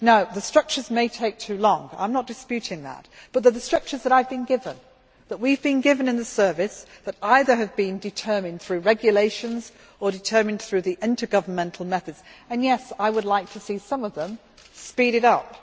The structures may take too long I am not disputing that but they are the structures that I have been given, that we have been given in the service, that either have been determined through regulations or determined through the intergovernmental methods and, yes, I would like to see some of them speeded